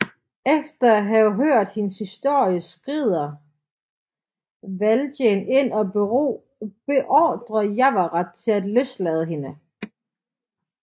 Efter at have hørt hendes historie skrider Valjean ind og beordrer Javert til at løslade hende